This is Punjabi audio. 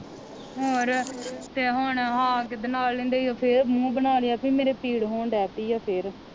ਹੋਰ ਤੇ ਹੁਣ ਆ ਕੇ ਨਾਂ ਲੈਂਦੇ ਹੀ ਫਿਰ ਮੂੰਹ ਬਣਾ ਲਿਆ ਵੀ ਮੇਰੇ ਪੀੜ੍ਹ ਹੋਣ ਲੱਗ ਪਈ ਆ ਫਿਰ